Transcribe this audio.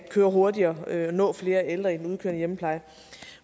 gå hurtigere og at de skal nå flere ældre i den udkørende hjemmepleje